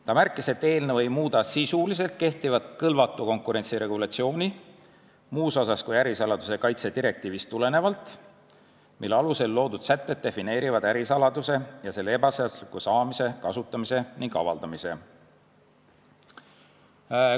Ta märkis, et eelnõu ei muuda kehtivat kõlvatu konkurentsi regulatsiooni sisuliselt muus osas kui ärisaladuse kaitse direktiivist tulenevalt, mille alusel loodud sätted defineerivad ärisaladuse ning selle ebaseadusliku saamise, kasutamise ning avaldamise.